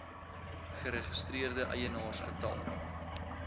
geregistreerde eienaars getal